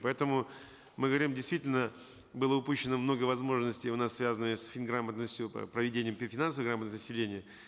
поэтому мы говорим действительно было упущено много возможностей у нас связанные с фин грамотностью проведения финансовой грамотности населения